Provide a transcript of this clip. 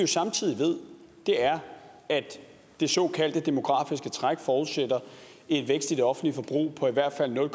samtidig ved er at det såkaldte demografiske træk forudsætter en vækst i det offentlige forbrug på i hvert fald nul